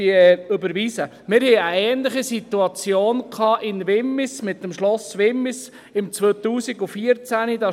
Wir hatten 2014 in Wimmis eine ähnliche Situation mit dem Schloss Wimmis.